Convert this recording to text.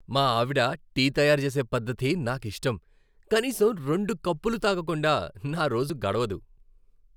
మా ఆవిడ టీ తయారుచేసే పద్ధతి నాకిష్టం, కనీసం రెండు కప్పులు తాగకుండా నా రోజు గడవదు.